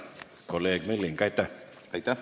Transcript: Kolleeg Milling, aitäh!